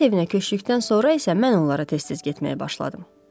Həyət evinə köçdükdən sonra isə mən onlara tez-tez getməyə başladım.